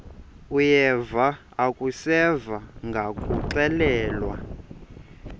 uyeva akuseva ngakuxelelwa